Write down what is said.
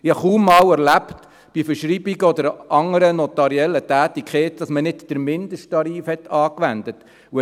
Ich habe bei Verschreibungen und anderen notariellen Tätigkeiten kaum einmal erlebt, dass man nicht den Mindesttarif angewendet hat.